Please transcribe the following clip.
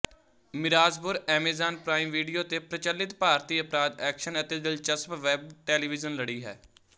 Mirzapur Amazon Prime Video ਤੇ ਪ੍ਰਚਲਿਤ ਭਾਰਤੀ ਅਪਰਾਧ ਐਕਸ਼ਨ ਅਤੇ ਦਿਲਚਸਪ ਵੈੱਬ ਟੈਲੀਵਿਜ਼ਨ ਲੜੀ ਹੈ